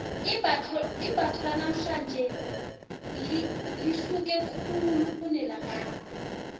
imbatho lanamhlanje lihluke khulu kunelakade